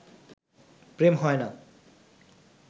প্রেম হয় না